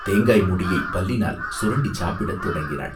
தேங்காய் மூடியைப் பல்லினால் சுரண்டிச் சாப்பிடத் தொடங்கினாள்.